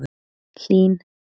Hlín